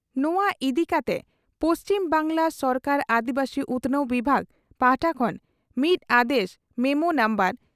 ᱱᱚᱣᱟ ᱤᱫᱤ ᱠᱟᱛᱮ ᱯᱩᱪᱷᱤᱢ ᱵᱟᱝᱜᱽᱞᱟ ᱥᱚᱨᱠᱟᱨᱟᱜ ᱟᱹᱫᱤᱵᱟᱹᱥᱤ ᱩᱛᱷᱱᱟᱹᱣ ᱵᱤᱵᱷᱟᱜᱽ ᱯᱟᱦᱴᱟ ᱠᱷᱚᱱ ᱢᱤᱫ ᱟᱫᱮᱥ ᱢᱮᱢᱚ ᱱᱩᱢᱵᱟᱨ